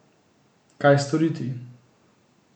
Kaj storiti?